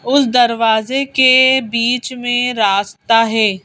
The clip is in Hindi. उस दरवाजे के बीच में रास्ता है।